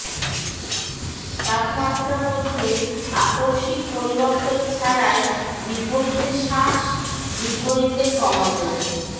তাপমাত্রা মধ্যে আকস্মিক পরিবর্তন ছাড়াই বিপরীতে শাঁস বিপরীতে কমাতে